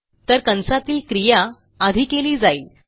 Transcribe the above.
तर कंसातील क्रिया आधी केली जाईल